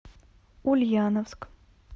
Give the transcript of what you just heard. ульяновск